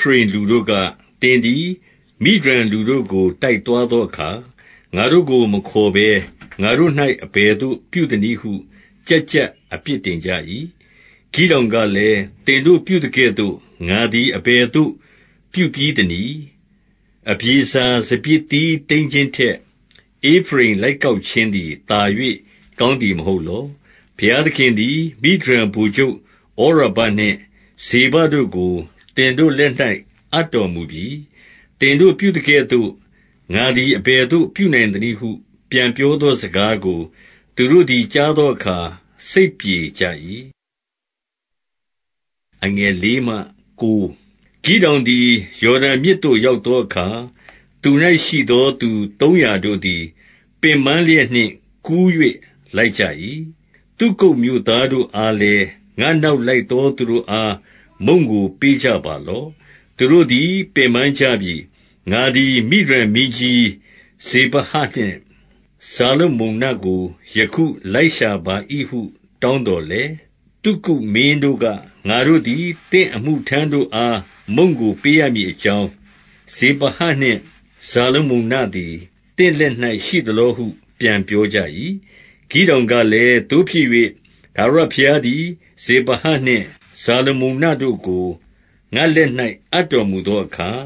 ဖရိမ်လူတို့က၊ သင်သည် မိဒျန်လူတို့ကို တိုက်သွားသောအခါ၊ ငါတို့ကို မခေါ်ဘဲ ငါတို့၌ အဘယ်သို့ ပြုသနည်းဟု ကျပ်ကျပ်အပြစ်တင်ကြ၏။ ဂိဒေါင်ကလည်း၊ သင်တို့ပြုသကဲ့သို့ ငါသည် အဘယ်သို့ ပြုပြီးသနည်း။ အဗျေဇာစပျစ်သီး သိမ်းခြင်း ထက် ဧဖရိမ်လိုက်ကောက်ခြင်းသည် သာ၍ ကောင်းသည်မဟုတ်လော။ ဘုရားသခင်သည် မိဒျန်ဗိုလ်ချုပ်ဩရဘနှင့် ဇေဘတို့ကို သင်တို့လက်၌ အပ်တော်မူပြီ။ သင်တို့ ပြုသကဲ့သို့ ငါသည် အဘယ်သို့ ပြုနိုင်သနည်းဟု ပြန်ပြောသောစကားကို သူတို့သည် ကြားသောအခါ စိတ်ပြေကြ၏။ ဂိဒေါင်သည် ယော်ဒန်မြစ်သို့ရောက်သောအခါ၊ သူ၌ရှိသော သူသုံးရာတို့သည် ပင်ပန်းလျက်နှင့် ကူး၍ လိုက်ကြ၏။ သုကုတ်မြို့သားတို့အားလည်း၊ ငါ့နောက်လိုက်သောသူတို့အား မုန့်ကို ပေးကြပါလော့။ သူတို့သည် ပင်ပန်းကြပြီ။ ငါသည် မိဒျန်မင်းကြီး ဇေဘဟနှင့် ဇာလမုန္နကို ယခု လိုက်ရှာပါ၏ဟု တောင်းသော် လည်း၊ သုကုတ်မင်းတို့က၊ ငါတို့သည် သင့်အမှုထမ်းတို့အား မုန့်ကို ပေးရမည်အကြောင်း၊ ဇေဘဟနှင့် ဇာလမုန္နသည် သင့်လက်၌ ရှိသလောဟု ပြန်ပြောကြ၏။ ဂိဒေါင်ကလည်း၊ သို့ဖြစ်၍ ထာဝရဘုရားသည် ဇေဘဟနှင့် ဇာလမုန္နတို့ကို ငါ့လက်၌ အပ်တော်မူသော အခါ၊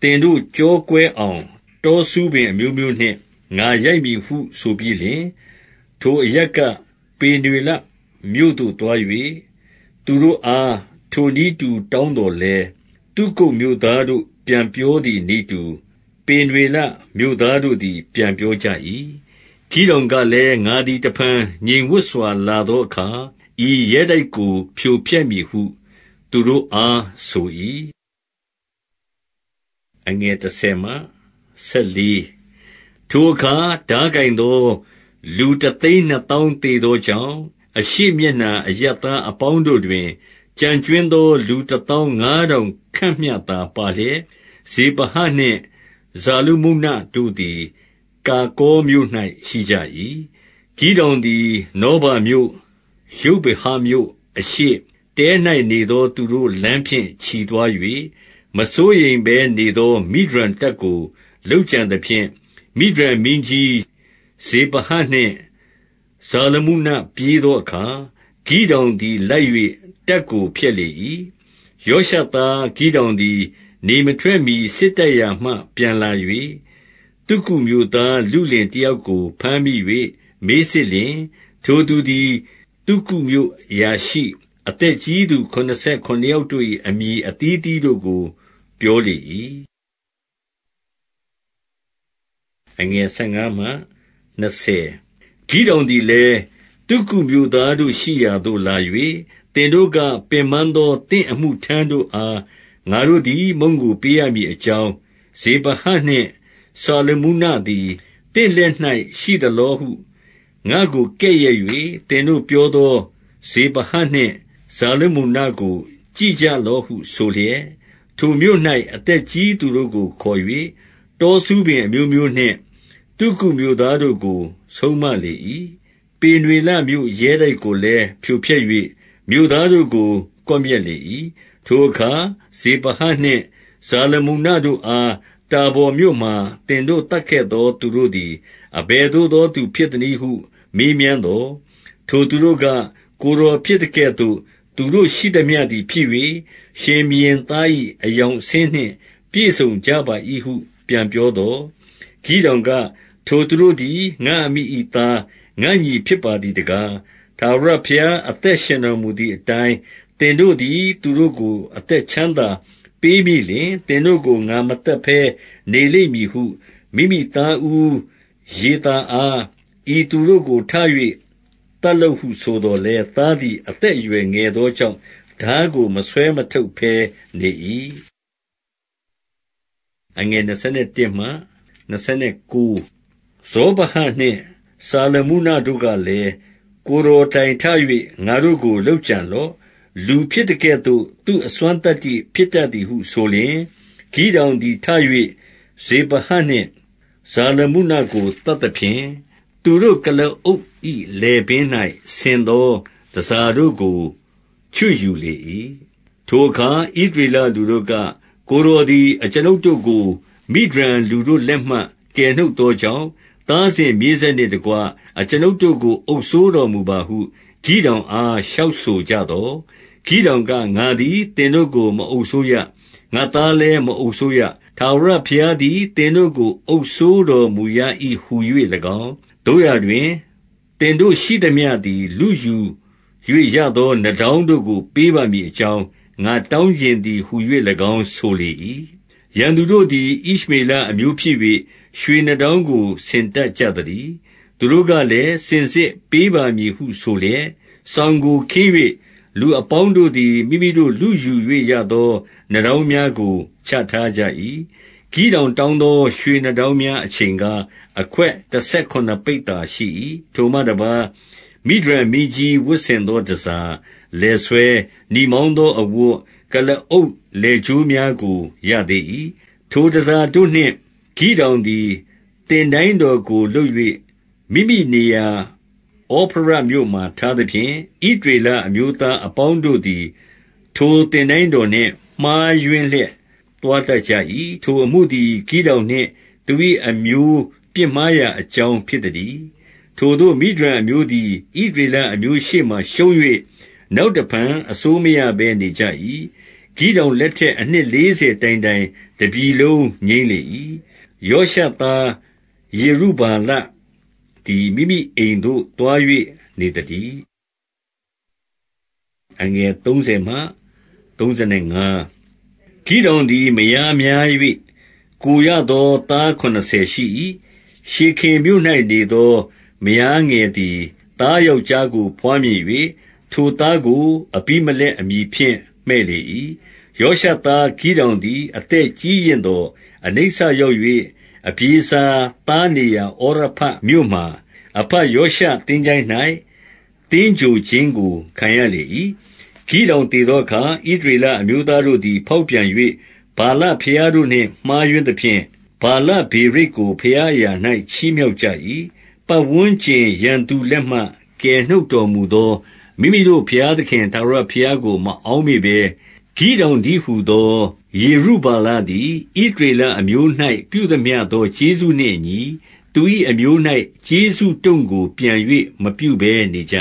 သင်တို့ ကျောကွဲအောင် တောဆူးပင်အမျိုးမျိုးနှင့် ငါရိုက်မည်ဟုဆိုပြီးလျှင်၊ ထိုအရပ်က ပေနွေလမြို့သို့ သွား၍၊ သူတို့အား ထိုနည်းတူ တောင်းသော်လည်း၊ သုကုတ်မြို့သားတို့ ပြန်ပြောသည်နည်းတူ၊ ပေနွေလမြို့သားတို့သည် ပြန်ပြောကြ၏။ ဂိဒေါင်ကလည်း၊ ငါသည် တဖန် ငြိမ်ဝပ်စွာ လာသောအခါ၊ ဤရဲတိုက်ကို ဖြိုဖျက်မည်ဟု သူတို့အား ဆို၏။ ထိုအခါ ထားကိုင်သော လူတသိန်းနှစ်သောင်း သေသောကြောင့်၊ အရှေ့မျက်နှာအရပ်သားအပေါင်း တို့တွင် ကျန်ကြွင်းသော လူတသောင်းငါးထောင်ခန့်မျှသာပါလျက်၊ ဇေဘဟနှင့် ဇာလမုန္နတို့သည် ကာကော်မြို့၌ ရှိကြ၏။ ဂိဒေါင်သည် နောဗာမြို့၊ ယုဗ္ဗေဟမြို့အရှေ့၊ တဲ၌ နေသူတို့လမ်းဖြင့် ချီသွား၍၊ မစိုးရိမ်ဘဲနေသော မိဒျန်တပ်ကို လုပ်ကြံသဖြင့်၊ မိဒျန်မင်းကြီးဇေဘဟနှင့် ဇာလမုန္နပြေးသောအခါ၊ ဂိဒေါင်သည် လိုက်၍ တပ်ကို ဖျက်လေ၏။ ယောရှသားဂိဒေါင်သည် နေမထွက်မှီ စစ်တိုက်ရာမှ ပြန်လာ၍၊ သုကုတ်မြို့သား လုလင်တယောက်ကို ဘမ်းမိ၍ မေးစစ်လျှင်၊ ထိုသူသည် သုကုတ်မြို့အရာရှိ၊ အသက်ကြီးသူခုနစ်ဆယ်ခုနစ်ယောက်တို့၏ အမည်အသီးအသီးတို့ကို ပြောလေ၏။ ဂိဒေါင်သည်လည်း၊ သုကုတ်မြို့သားတို့ရှိရာသို့ လာ၍၊ သင်တို့က၊ ပင်ပန်းသော သင့်အမှုထမ်းတို့အား ငါတို့သည် မုန့်ကို ပေးရမည်အကြောင်း၊ ဇေဘဟနှင့် ဇာလမုန္နသည် သင့်လက်၌ရှိသလောဟု ငါ့ကို ကဲ့ရဲ့၍ သင်တို့ပြောသော ဇေဘဟနှင့် ဇာလမုန္နကို ကြည့်ကြလော့ဟုဆိုလျက်၊ ထိုမြို့၌ အသက်ကြီးသူတို့ကို ခေါ်၍ တောဆူးပင်အမျိုးမျိုးနှင့် သုကုတ်မြို့သားတို့ကို ဆုံးမလေ၏။ ပေနွေလမြို့ ရဲတိုက်ကိုလည်း ဖြိုဖျက်၍ မြို့သားတို့ကို ကွပ်မျက်လေ၏။ ထိုအခါ ဇေဘဟနှင့် ဇာလမုန္နတို့အား တာဗော်မြို့မှာ သင်တို့ သတ်ခဲ့သော သူတို့သည် အဘယ်သို့ သော သူဖြစ်သနည်းဟု မေးမြန်းသော်၊ ထိုသူတို့က၊ ကိုယ်တော်ဖြစ်သကဲ့သို့ သူတို့ရှိသမျှသည် ဖြစ်၍၊ ရှင်ဘုရင်သား၏ အဆင်းအရောင်နှင့် ပြည့်စုံကြပါ၏ဟု ပြန်ပြောသော်၊ ဂိဒေါင်က၊ ထိုသူတို့သည် ငါ့အမိ၏သား၊ ငါ့ညီဖြစ်ပါသည်တကား၊ ထာဝရဘုရား အသက်ရှင်တော်မူ သည်အတိုင်း၊ သင်တို့သည် သူတို့ကို အသက်ချမ်းသာပေးမိလျှင်၊ သင်တို့ကို ငါမသတ်ဘဲ နေလိမ့်မည် ဟု၊ မိမိသားဦးယေသာအား၊ ဤသူတို့ကို ထ၍ သတ်လော့ဟုဆိုသော်လည်း၊ သားသည် အသက်အရွယ် ငယ်သောကြောင့်၊ ထားကို မဆွဲမထုတ်ဘဲ နေ၏။ ဇေဘဟနှင့် ဇာလမုန္နတို့ကလည်း၊ ကိုယ်တော်တိုင်ထ၍ ငါတို့ကို လုပ်ကြံလော့။ လူဖြစ်သကဲ့သို့ သူ့အစွမ်းသတ္တိဖြစ်တတ်သည်ဟုဆိုလျှင်၊ ဂိဒေါင်သည် ထ၍ ဇေဘဟနှင့် ဇာလမုန္နကို သတ်သဖြင့်၊ သူတို့ ကုလားအုပ်၏ လည်ပင်း၌ ဆင်သော တန်ဆာတို့ကို ချွတ်ယူလေ၏။ ထိုအခါ ဣသရေလလူတို့က၊ ကိုယ်တော်သည် အကျွန်ုပ်တို့ကို မိဒျန်လူတို့လက်မှ ကယ်နှုတ်သော ကြောင့်၊ သားစဉ်မြေးဆက်နှင့်တကွ အကျွန်ုပ်တို့ကို အုပ်စိုးတော်မူပါဟု၊ ဂိဒေါင်အား လျှောက်ဆို ကြသော်၊ ဂိဒေါင်က၊ ငါသည် သင်တို့ကို မအုပ်စိုးရ။ ငါ့သားလည်း မအုပ်စိုးရ။ ထာဝရဘုရားသည် သင်တို့ကို အုပ်စိုးတော်မူရ၏ဟူ၍၎င်း၊ သို့ရာတွင် သင်တို့ရှိသမျှသည် လုယူ၍ ရသော နားတောင်းတို့ကို ပေးပါမည်အကြောင်း၊ ငါတောင်းချင် သည်ဟူ၍၎င်း ဆိုလေ၏။ ရန်သူတို့သည် ဣရှမေလအမျိုးဖြစ်၍ ရွှေနားတောင်းကို ဆင်တတ် ကြသတည်း။ သူတို့ကလည်း၊ စင်စစ်ပေးပါမည်ဟုဆိုလျက် စောင်ကို ခင်း၍၊ လူအပေါင်းတို့သည် မိမိတို့ လုယူ၍ ရသော နားတောင်းများကို ချထားကြ၏။ ဂိဒေါင်တောင်းသော ရွှေနားတောင်းများ အချိန်ကား၊ အခွက်တဆယ်ခုနစ်ပိဿာရှိ၏။ ထိုမှတပါး၊ မိဒျန်မင်းကြီး ဝတ်ဆင်သောတန်ဆာ၊ လည်ဆွဲ၊ နီမောင်းသောအဝတ်၊ ကုလားအုပ် လည်ကြိုးများကို ရသေး၏။ ထိုတန်ဆာတို့နှင့် ဂိဒေါင်သည် သင်တိုင်းတော်ကို လုပ်၍ မိမိနေရာ ဩဖရမြို့မှာ ထားသဖြင့်၊ ဣသရေလအမျိုးသားအပေါင်းတို့သည် ထိုသင်တိုင်းတော်နှင့် မှားယွင်းလျက် သွားတတ်ကြ၏။ ထိုအမှုသည် ဂိဒေါင်နှင့် သူ၏အမျိုး ပြစ်မှားရာအကြောင်းဖြစ်သတည်း။ ထိုသို့ မိဒျန်အမျိုးသည် ဣသရေလအမျိုးရှေ့မှာ ရှုံး၍၊ နောက်တဖန် အစိုးမရဘဲ နေကြ၏။ ဂိဒေါင် လက်ထက်အနှစ်လေးဆယ်တိုင်တိုင် တပြည်လုံး ငြိမ်းလေ၏။ ယောရှသားယေရုဗ္ဗာလသည် မိမိအိမ်သို့ သွား၍ နေသတည်း။ ဂိဒေါင်သည် မယားများ၍၊ ကိုယ်ရသော သားခုနစ်ဆယ်ရှိ၏။ ရှေခင်မြို့၌ နေသော မယားငယ်သည် သားယောက်ျားကို ဘွားမြင်၍၊ ထိုသားကို အဘိမလက်အမည် ဖြင့် မှည့်လေ၏။ ယောရှသား ဂိဒေါင်သည် အသက်ကြီးရင့်သော် အနိစ္စရောက်၍၊ အဗျေဇာသားနေရာ ဩဖရမြို့မှာ၊ အဘယောရှသင်္ချိုင်း၌ သင်္ဂြိုဟ်ခြင်းကို ခံရလေ၏။ ဂိဒေါင်သေသောအခါ၊ ဣသရေလအမျိုးသားတို့သည် ဖောက်ပြန်၍ ဗာလဘုရားတို့နှင့် မှားယွင်းသဖြင့်၊ ဗာလဗေရိတ်ကို ဘုရားအရာ၌ ချီးမြှောက်ကြ၏။ ပတ်ဝန်းကျင်ရန်သူလက်မှ ကယ်နှုတ်တော်မူသော မိမိတို့ဘုရားသခင်ထာဝရဘုရားကို မအောက်မေ့ဘဲ၊ ဂိဒေါင်တည်းဟူသော ယေရုဗ္ဗာလသည် ဣသရေလအမျိုး၌ ပြုသမျှသော ကျေးဇူးနှင့်အညီ၊ သူ၏အမျိုး၌ ကျေးဇူးတို့ကို ပြန်၍ မပြုဘဲ နေကြ